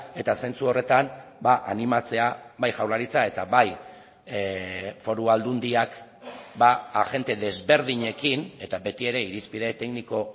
eta zentzu horretan animatzea bai jaurlaritza eta bai foru aldundiak agente desberdinekin eta beti ere irizpide tekniko